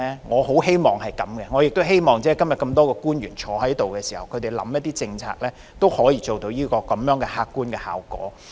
我也希望今天多位在席的官員所制訂的政策，都可以做到這客觀效果。